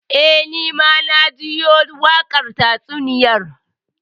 Eh, Ni ma na jiyo wakar tatsuniyar.